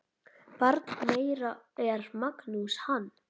Barn þeirra er Magnús Hans.